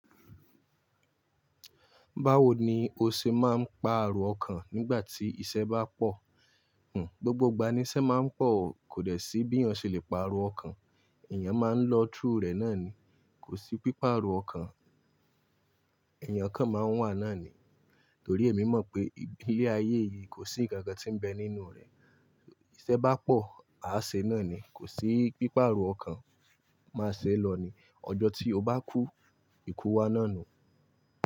Báwo ni o ṣe máa ń paa ero ọkàn nígbà tí iṣẹ́ bá pọ̀? Hmm, gbogbo ìgbà ni iṣẹ́ máa ń pọ̀. Kò dè sí bí èèyàn ṣe lè pa erọ ọkàn. Ẹ̀yàn máa ń lọ through rẹ̀ náà ni. Kò sí pípá erọ ọkàn. Ẹ̀yàn kan máa ń wà náà ni. Torí èmi mọ̀ pé ilé ayé yìí kò sí ǹkan kan tí ń bẹ nínú rẹ̀. Iṣẹ́ bá pọ̀, a ṣe náà ni. Kò sí pípá arọ ọkàn. Máa ṣe lọ ni. Ọjọ́ tí o bá kú, ikú wá náà nu.